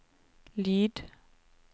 lyd